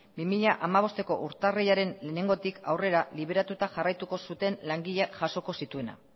bi mila hamabosteko urtarrilaren batetik aurrera liberatuta jarraituko zuten langileak jasoko zituena